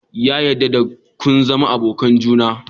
Ya dadde da kin zama abokan juna?